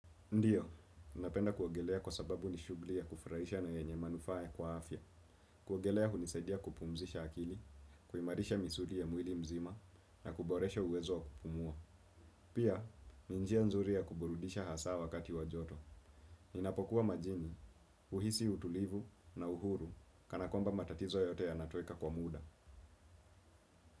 Ndiyo, napenda kuogelea kwa sababu ni shughuli ya kufurahisha na yenye manufaa kwa afya, kuogelea hunisaidia kupumzisha akili, kuimarisha misuli ya mwili mzima, na kuboresha uwezo wa kupumua. Pia, ni njia nzuri ya kuburudisha hasa wakati wa joto. Ninapokuwa majini, huhisi utulivu na uhuru, kana kwamba matatizo yote yanatoweka kwa muda.